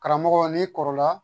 Karamɔgɔ n'i kɔrɔla